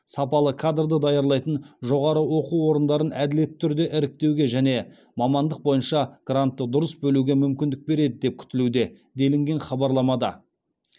сапалы кадрды даярлайтын жоғары оқу орындарын әділетті түрде іріктеуге және мамандық бойынша грантты дұрыс бөлуге мүмкіндік береді деп күтілуде делінген хабарламада